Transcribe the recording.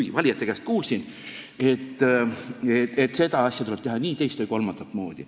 Et ma valijate käest kuulsin, et seda asja tuleb teha nii, teist või kolmandat moodi.